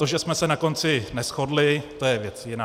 To, že jsme se na konci neshodli, to je věc jiná.